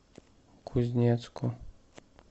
кузнецку